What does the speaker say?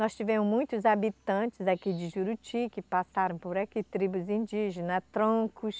Nós tivemos muitos habitantes aqui de Juruti que passaram por aqui, tribos indígenas, troncos.